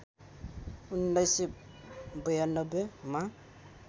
१९९२ मा